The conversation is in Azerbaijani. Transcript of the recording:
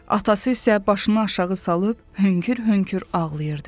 Atası isə başını aşağı salıb hönkür-hönkür ağlayırdı.